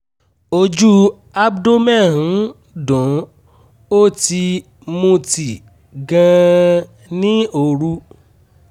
ojú abdomen ń dun ó ti mutí gan-an ní òru